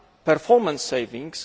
are performance savings?